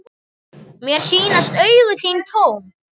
Mér sýnast augu þín tóm.